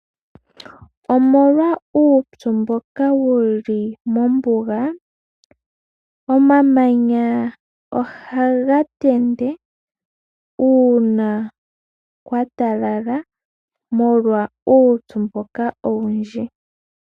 Omolwa uupyu mboka wu li mombuga, omamanya ohaga tende uuna kwa pupyala, molwa uupyu mboka owundji.